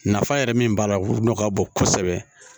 Nafa yɛrɛ min b'a la olu nɔgɔ ka bon kosɛbɛ